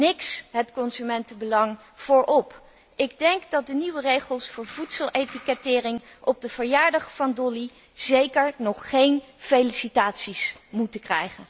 Niks het consumentenbelang voorop. Ik denk dat de nieuwe regels voor voedseletikettering op de verjaardag van Dolly zeker nog geen felicitaties verdienen.